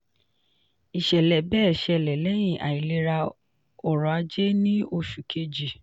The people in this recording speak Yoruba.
ìṣẹ̀lẹ̀ bẹ́ẹ̀ ṣẹlẹ̀ lẹ́yìn àìlera ọrọ̀ ajé ní oṣù kejì.